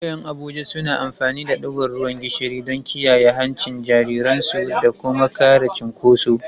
Iyayen Abuja suna amfani da digon ruwan gishiri don kiyaye hancin jariransu da kuma kare cunkoso.